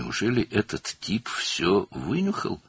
Doğrudanmı bu tip hər şeyi öyrəndi?